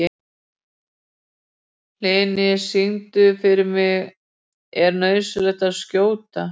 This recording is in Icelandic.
Hlini, syngdu fyrir mig „Er nauðsynlegt að skjóta“.